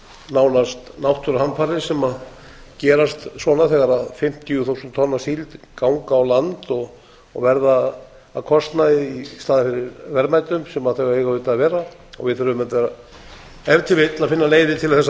nánast náttúruhamfarir sem gerast svona þegar fimmtíu þúsund tonn af síld ganga á land og verða að kostnaði í staðinn fyrir verðmætum sem þau eiga auðvitað að vera við þurfum auðvitað ef til vill að finna leiðir til þess að